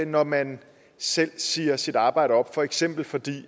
når man selv siger sit arbejde op for eksempel fordi